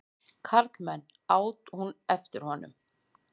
Karlmenn! át hún eftir honum.